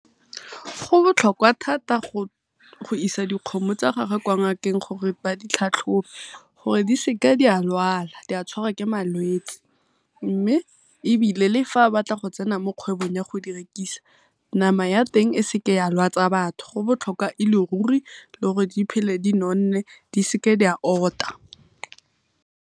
Go botlhokwa thata go isa dikgomo tsa gagwe kwa ngakeng gore ba ditlhatlhobe gore di seke di a lwala di a tshwarwa ke malwetsi. Mme le fa a batla go tsena mo kgwebong ya go di rekisa nama ya teng e seke ya lwatsa batho. Go botlhokwa e le ruri le gore di phele di nonne di seke di a ota.